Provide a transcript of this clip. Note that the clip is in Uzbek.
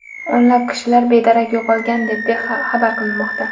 O‘nlab kishilar bedarak yo‘qolgan deb xabar qilinmoqda.